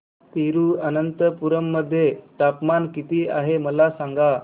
तिरूअनंतपुरम मध्ये तापमान किती आहे मला सांगा